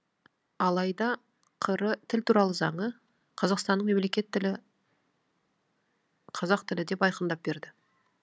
алайда қр тіл туралы заңы қазақстанның мемлекеттік тілі қазақ тілі деп айқындап берді